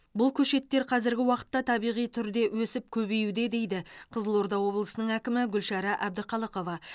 бұл көшеттер қазіргі уақытта табиғи түрде өсіп көбеюде дейді қызылорда облысының әкімі гүлшара әбдіқалықова